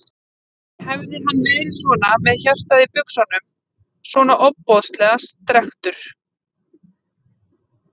Hefði hann verið svona með hjartað í buxunum, svona ofboðslega strekktur?